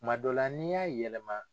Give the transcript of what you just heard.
Kuma dɔ la n'i y'a yɛlɛma.